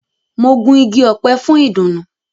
Mo gun ìgi ọpẹ fún idunu.